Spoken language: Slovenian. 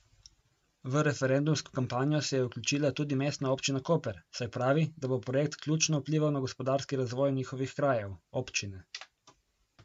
V referendumsko kampanjo se je vključila tudi Mestna občina Koper, saj pravi, da bo projekt ključno vplival na gospodarski razvoj njihovih krajev, občine.